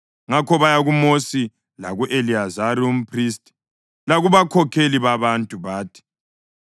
Ngakho baya kuMosi laku-Eliyazari umphristi lakubakhokheli babantu, bathi,